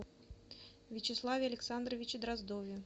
вячеславе александровиче дроздове